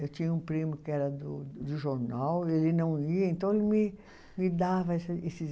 Eu tinha um primo que era do do jornal, ele não ia, então ele me dava esses